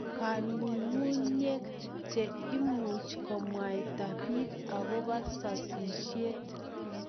Kangunyngunyek che imuch komwaita piik akoba sasishet